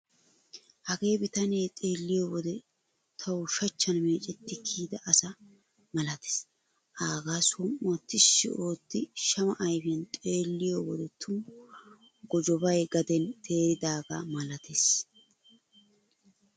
Hagee bitane xeelliyo wode tawu shachchan meecetti kiyida asa malatees. Aagaa som"uwaa tishshi otti shama ayfiyan xeelliyo wode tumu gojobay gaden teeridaagaa malatees.